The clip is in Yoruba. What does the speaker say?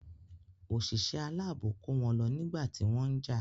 Òṣìṣẹ́ aláàbò kó wọn lọ nígbà tí wọ́n jà.